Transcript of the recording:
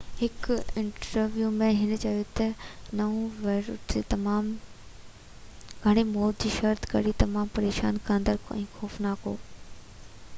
هڪ انٽرويو ۾ هِن چيو ته نئون ويريئينٽ تمام گھڻي موت جي شرح جي ڪري تمام پريشان ڪندڙ ۽ خوفناڪ هو